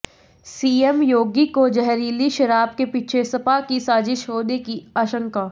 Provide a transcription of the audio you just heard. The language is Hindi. सीएम योगी को जहरीली शराब के पीछे सपा की साजिश होने की आशंका